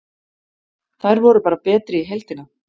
Þær voru bara betri í heildina.